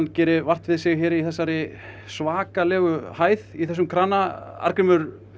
geri vart við sig hérna í þessari svakalegu hæð í þessum krana Arngrímur